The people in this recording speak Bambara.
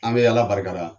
An bɛ ala barikada